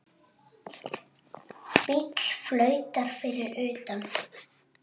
Bíll flautar fyrir utan.